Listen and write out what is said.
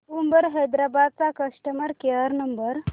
Uber Hyderabad चा customer care number